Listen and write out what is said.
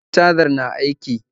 E, cajar na aiki